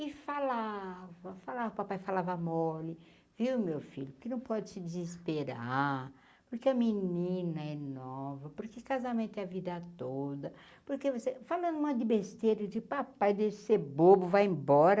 E falava falava , papai falava mole, viu meu filho, porque não pode se desesperar, porque a menina é nova, porque casamento é a vida toda, porque você falando um monte de besteira, eu digo papai deixa de ser bobo vai embora,